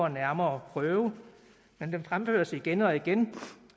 nærmere prøve men de fremføres igen og igen